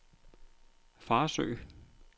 Farsø